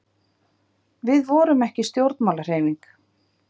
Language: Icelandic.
við vorum ekki stjórnmálahreyfing